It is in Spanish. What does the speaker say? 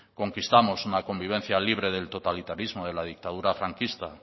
conquistamos una convivencia libre del totalitarismo de la dictadura franquista